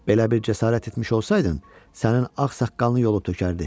Belə bir cəsarət etmiş olsaydın, sənin ağ saqqalını yolub tökərdi.